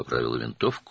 tüfəngini düzəltdi.